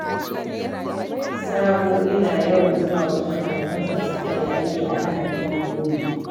Sabo yana yawan zuwa wajen abokansa da suka yi aiki a Lahadin Makole.